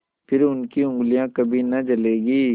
फिर उनकी उँगलियाँ कभी न जलेंगी